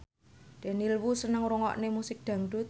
Daniel Wu seneng ngrungokne musik dangdut